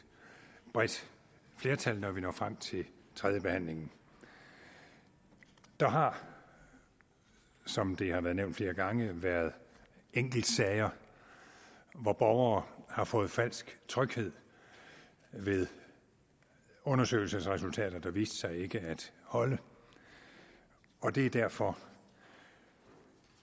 bredt flertal når vi når frem til tredjebehandlingen der har som det har været nævnt flere gange været enkeltsager hvor borgere har fået falsk tryghed ved undersøgelsesresultater der viste sig ikke at holde og det er derfor